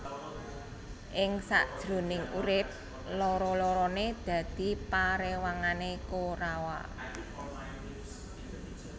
Ing sak jroning urip loro lorone dadi parewangane Korawa